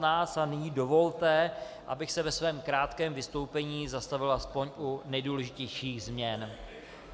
Nyní dovolte, abych se ve svém krátkém vystoupení zastavil aspoň u nejdůležitějších změn.